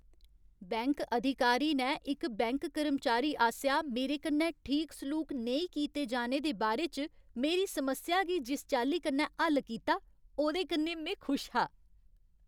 Bank अधिकारी ने इक बैंक कर्मचारी आसेआ मेरे कन्नै ठीक सलूक नेईं कीते जाने दे बारे च मेरी समस्या गी जिस चाल्ली कन्नै हल्ल कीता, ओह्दे कन्नै में खुश हा।